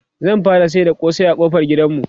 zan fara sayar da kosai ƙofar gidanmu